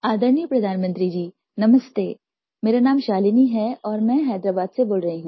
आदरणीय प्रधानमंत्री जी नमस्ते मेरा नाम शालिनी है और मैं हैदराबाद से बोल रही हूँ